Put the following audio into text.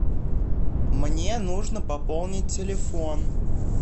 мне нужно пополнить телефон